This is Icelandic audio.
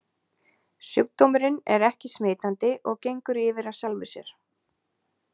Sjúkdómurinn er ekki smitandi og gengur yfir af sjálfu sér.